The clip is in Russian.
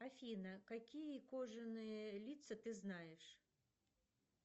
афина какие кожаные лица ты знаешь